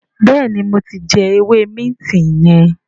béèni mo tí jé ewé Minti yen.